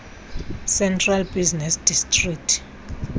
central business district